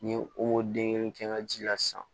Ni ye o den kelen kɛ n ka ji la sisan